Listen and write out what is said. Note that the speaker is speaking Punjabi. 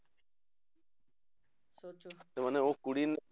ਤੇ ਮਨੇ ਉਹ ਕੁੜੀ